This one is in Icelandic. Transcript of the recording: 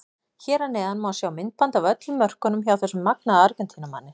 Hér að neðan má sjá myndband af öllum mörkunum hjá þessum magnaða Argentínumanni.